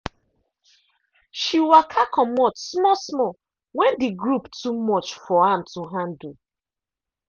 she waka comot small small when the group too much for am to handle.